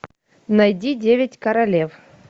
найди девять королев